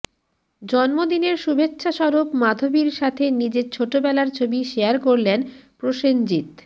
জন্মদিনের শুভেচ্ছা স্বরূপ মাধবীর সাথে নিজের ছোটবেলার ছবি শেয়ার করলেন প্রসেনজিত